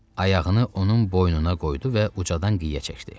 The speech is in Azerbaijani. Ayağını onun boynuna qoydu və ucadan qışqırdı.